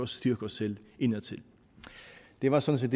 styrke os selv indadtil det var sådan